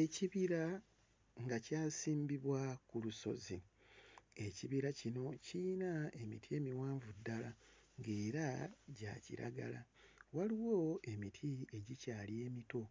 Ekibira nga kyasimbibwa ku lusozi. Ekibira kino kiyina emiti emiwanvu ddala ng'era gya kiragala, waliwo emiti egikyali emito